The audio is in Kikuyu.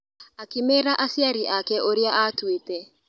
Akĩmera aciari ake ũrĩa atuĩte.